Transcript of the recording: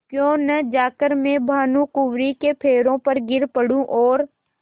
क्यों न जाकर मैं भानुकुँवरि के पैरों पर गिर पड़ूँ और